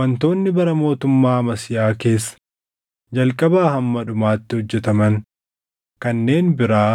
Wantoonni bara mootummaa Amasiyaa keessa jalqabaa hamma dhumaatti hojjetaman kanneen biraa